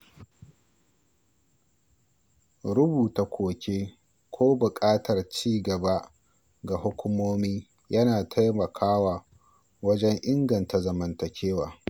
Rubuta koke ko buƙatar ci gaba ga hukumomi yana taimakawa wajen inganta zamantakewa.